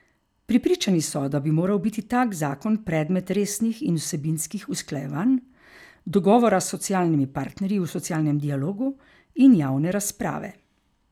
Prepričani so, da bi moral biti tak zakon predmet resnih in vsebinskih usklajevanj, dogovora s socialnimi partnerji v socialnem dialogu in javne razprave.